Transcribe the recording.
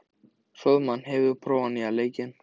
Hróðmar, hefur þú prófað nýja leikinn?